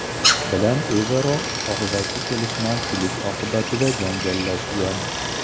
bilan o‘zaro og‘zaki kelishmovchilik oqibatida janjallashgan.